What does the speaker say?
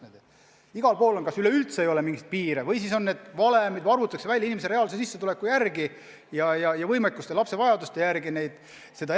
Mujal kas üldse ei ole mingit piiri või siis kasutatakse mingit valemit ja arvutatakse inimese reaalse sissetuleku ja lapse vajaduste järgi elatisraha suurus.